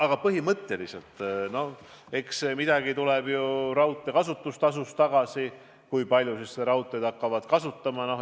Aga põhimõtteliselt tuleb midagi ju ka raudtee kasutamise tasust tagasi, olenevalt sellest, kui paljud seda raudteed hakkavad kasutama.